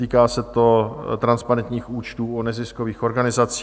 Týká se to transparentních účtů o neziskových organizacích.